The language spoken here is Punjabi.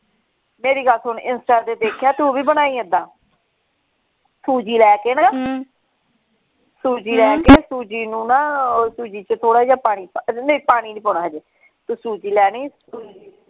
ਮੇਰੀ ਗੱਲ ਸੁਣ insta ਤੇ ਦੇਖਿਆ ਤੂੰ ਭੀ ਬਨਾਈ ਏਦਾਂ ਸੂਜੀ ਲੈ ਕੇ ਨਾ ਸੂਜੀ ਲੈ ਕੇ ਸੂਜੀ ਨੂੰ ਨਾ ਸੂਜੀ ਚ ਥੋੜਾ ਜਿਹਾ ਪਾਣੀ ਪਾ ਕੇ ਨਹੀਂ ਪਾਣੀ ਨਹੀਂ ਪਾਉਣਾ ਹਜੇ ਤੂੰ ਸੂਜੀ ਲੈਣੀ ।